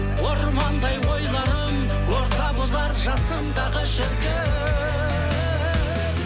ормандай ойларым орта бұзар жасымдағы шіркін